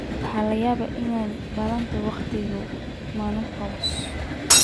Waxa laga yaabaa inay bilaabato wakhtiga menopause.